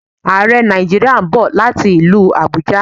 Àrẹ Nàìjíríà ń bọ̀ láti ilú Àbújá